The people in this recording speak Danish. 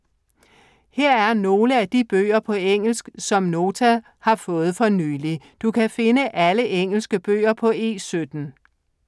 Her er nogle af de bøger på engelsk, som Nota har fået for nylig. Du kan finde alle engelske bøger på E17.